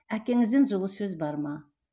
әкеңізден жылы сөз бар ма